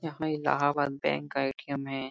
यहाँ इलाहाबाद बैंक का ए.टी.एम. है।